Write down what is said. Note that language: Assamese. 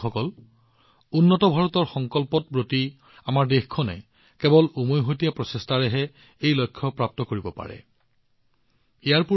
এই আৰম্ভণিৰ সৈতে ভাৰত বিশ্বব্যাপী বাণিজ্যিক বজাৰত এক শক্তিশালী খেলুৱৈ হিচাপে আত্মপ্ৰকাশ কৰিছে ইয়াৰ সৈতে ভাৰতৰ বাবে সুযোগৰ নতুন দুৱাৰ মুকলি হৈছে